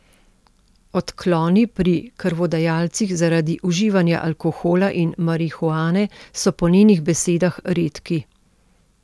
Odkloni pri krvodajalcih zaradi uživanja alkohola in marihuane so po njenih besedah redki.